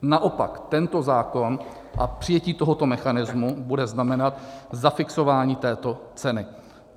Naopak, tento zákon a přijetí tohoto mechanismu bude znamenat zafixování této ceny.